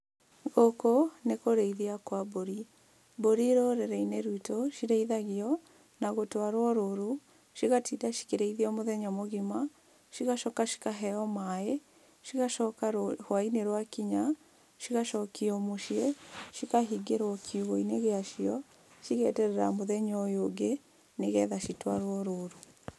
Gũkũ nĩ kũrĩithia kwa mbũri, mbũri rũrĩrĩ-inĩ rwitũ cirĩithagio na gũtwarwo rũru, cigatinda cikĩrĩithio mũthenya mũgima, cigacoka cikaheo maĩ, cigacoka rwainĩ rwa kinya, cigacokio mũciĩ cikahingĩrwo kiugũinĩ gĩacio, cigeterera mũthenya ũyũ ũngĩ nĩgetha citwarwo rũru.